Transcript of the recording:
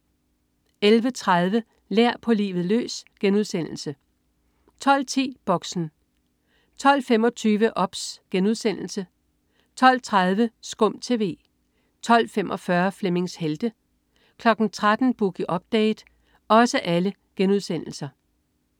11.30 Lær. På livet løs* 12.10 Boxen 12.25 OBS* 12.30 SKUM TV* 12.45 Flemmings Helte* 13.00 Boogie Update*